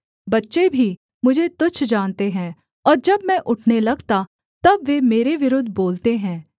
बच्चे भी मुझे तुच्छ जानते हैं और जब मैं उठने लगता तब वे मेरे विरुद्ध बोलते हैं